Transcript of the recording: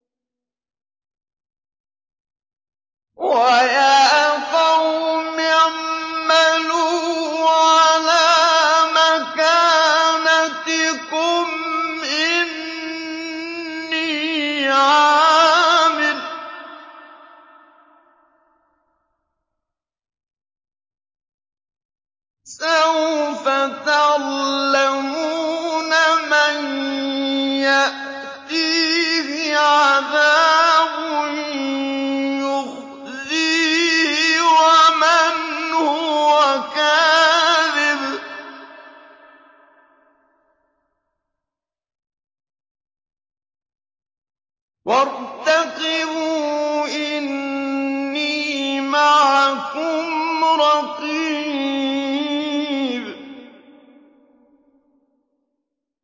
وَيَا قَوْمِ اعْمَلُوا عَلَىٰ مَكَانَتِكُمْ إِنِّي عَامِلٌ ۖ سَوْفَ تَعْلَمُونَ مَن يَأْتِيهِ عَذَابٌ يُخْزِيهِ وَمَنْ هُوَ كَاذِبٌ ۖ وَارْتَقِبُوا إِنِّي مَعَكُمْ رَقِيبٌ